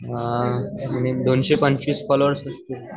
अअ दोनशे पंचवीस फोल्लोवेर्स असतील.